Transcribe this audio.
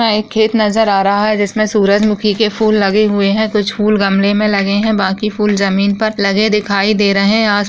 यहां एक खेत नज़र आ रहा है जिस में सूरजमुखी के फूल लगे हुए है कुछ फुल गमले में लगे है बाकि फुल जमीन पर लगे दिखाई दे रहे है।